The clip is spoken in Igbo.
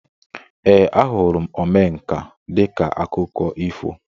Ee, ahụrụ m Omenka dịka akụkọ ifo